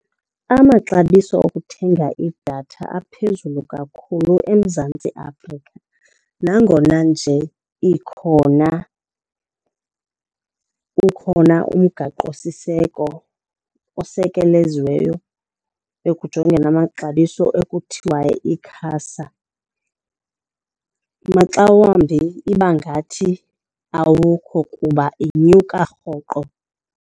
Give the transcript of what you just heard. Amaxabiso okuthenga idatha aphezulu kakhulu eMzantsi Afrika nangona nje ikhona ukhona umgaqosiseko osekeleziweyo ekujongeni amaxabiso ekuthiwa yi-ICASA. Maxa wambi iba ngathi awukho kuba inyuka rhoqo.